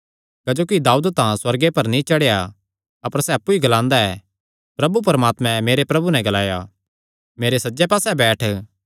क्जोकि दाऊद तां सुअर्गे पर नीं चढ़ेया अपर सैह़ अप्पु ई ग्लांदा ऐ प्रभु परमात्मे मेरे प्रभु नैं ग्लाया मेरे सज्जे पास्से बैठ